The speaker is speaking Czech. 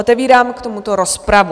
Otevírám k tomuto rozpravu.